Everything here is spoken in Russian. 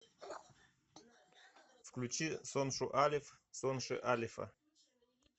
включи соншу алеф сонши алефа